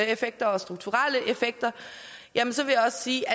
effekter og strukturelle effekter jamen så vil jeg sige